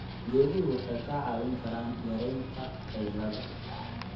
Geeduhu waxay kaa caawin karaan yaraynta qaylada.